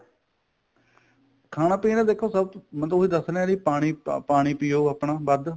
ਖਾਣਾ ਪੀਣਾ ਦੇਖੋ ਸਭ ਤੋਂ ਮੈਂ ਤਾਂ ਉਹੀ ਦਸ ਰਿਹਾ ਵੀ ਪਾਣੀ ਪਾਣੀ ਪਿਉ ਆਪਣਾ ਵੱਧ